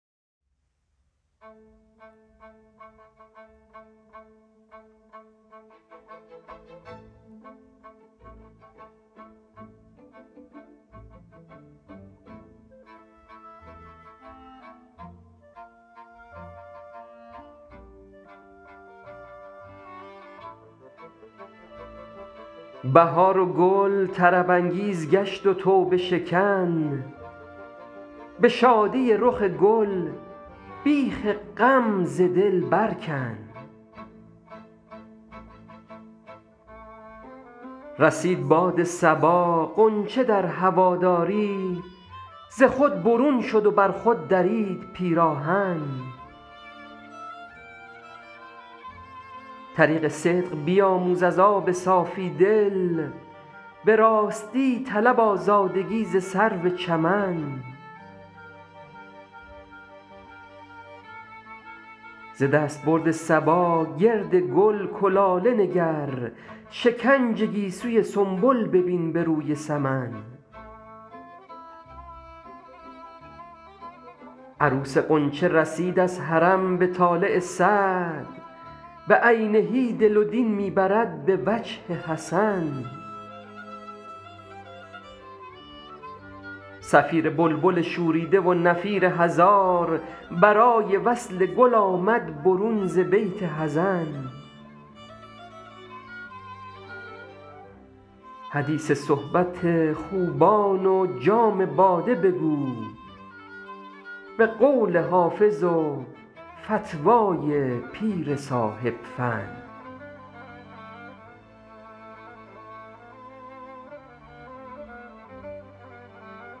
بهار و گل طرب انگیز گشت و توبه شکن به شادی رخ گل بیخ غم ز دل بر کن رسید باد صبا غنچه در هواداری ز خود برون شد و بر خود درید پیراهن طریق صدق بیاموز از آب صافی دل به راستی طلب آزادگی ز سرو چمن ز دستبرد صبا گرد گل کلاله نگر شکنج گیسوی سنبل ببین به روی سمن عروس غنچه رسید از حرم به طالع سعد بعینه دل و دین می برد به وجه حسن صفیر بلبل شوریده و نفیر هزار برای وصل گل آمد برون ز بیت حزن حدیث صحبت خوبان و جام باده بگو به قول حافظ و فتوی پیر صاحب فن